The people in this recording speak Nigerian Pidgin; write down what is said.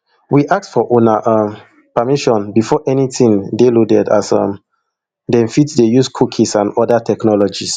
we ask for una um permission before anytin dey loaded as um dem fit dey use cookies and oda technologies